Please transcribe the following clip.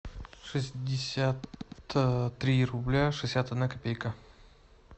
шестьдесят три рубля шестьдесят одна копейка